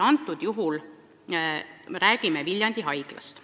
Konkreetsel juhul on jutt Viljandi haiglast.